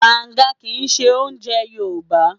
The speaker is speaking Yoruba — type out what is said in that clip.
Bàǹga kì í ṣe oúnjẹ Yorùbá.